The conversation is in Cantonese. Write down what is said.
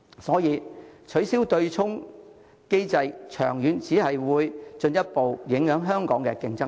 所以，取消對沖機制長遠只會進一步影響香港的競爭力。